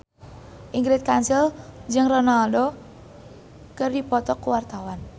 Ingrid Kansil jeung Ronaldo keur dipoto ku wartawan